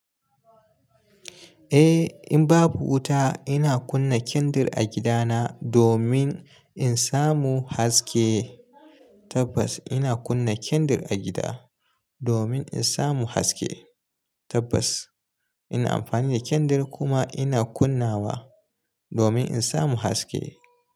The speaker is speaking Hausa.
Eh in babu wuta ina kunna kendir a gida na domin in samu haske. Tabbas ina kunna kendir a gida domin in samu haske. Tabbas ina amfani da kendir kuma ina kunnawa domin in samu haske.